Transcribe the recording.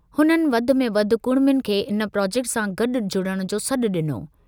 हुननि वधि में वधि कुड़मियुनि खे इन प्रॉजेक्ट सां गॾु जुड़णु जो सॾु ॾिनो।